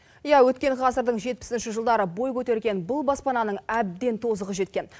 иә өткен ғасырдың жетпісінші жылдары бой көтерген бұл баспананың әбден тозығы жеткен